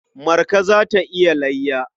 Marka za ta yi layya.